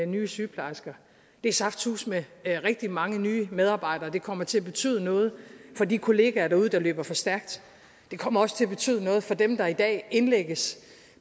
nye sygeplejersker det er saftsuseme rigtig mange nye medarbejdere og det kommer til at betyder noget for de kolleger derude der løber for stærkt det kommer også til at betyde noget for dem der i dag indlægges